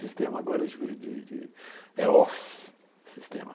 Sistema agora é de de de é office, sistema.